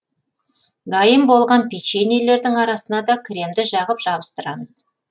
дайын болған печеньелердің арасына да кремді жағып жабыстырамыз